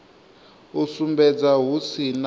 u sumbedza hu si na